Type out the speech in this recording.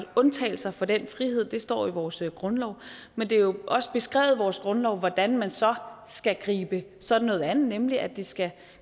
undtagelser fra den frihed det står i vores grundlov men det er jo også beskrevet i vores grundlov hvordan man så skal gribe sådan noget an nemlig at det skal